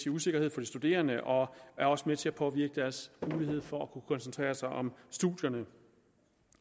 usikkerhed for de studerende og er også med til at påvirke deres mulighed for at kunne koncentrere sig om studierne